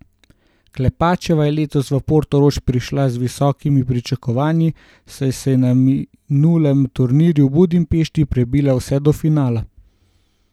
Klepačeva je letos v Portorož prišla z visokimi pričakovanji, saj se je na minulem turnirju v Budimpešti prebila vse do finala.